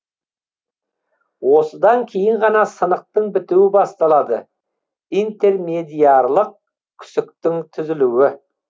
осыдан кейін ғана сынықтың бітуі басталады интермедиарлық күсіктің түзілуі